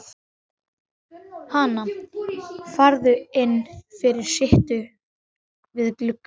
Hana, farðu inn fyrir, sittu við gluggann.